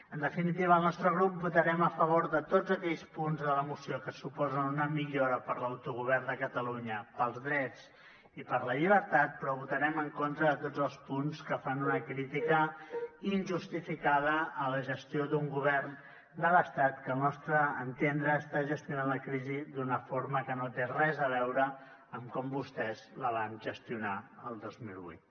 en definitiva el nostre grup votarem a favor de tots aquells punts de la moció que suposen una millora per a l’autogovern de catalunya pels drets i per la llibertat però votarem en contra de tots els punts que fan una crítica injustificada a la gestió d’un govern de l’estat que al nostre entendre està gestionant la crisi d’una forma que no té res a veure amb com vostès la van gestionar el dos mil vuit